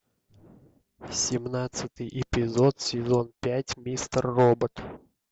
семнадцатый эпизод сезон пять мистер робот